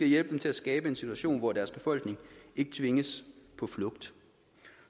hjælpe dem til at skabe en situation hvor deres befolkning ikke tvinges på flugt